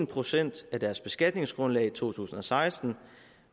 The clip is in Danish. procent af deres beskatningsgrundlag i to tusind og seksten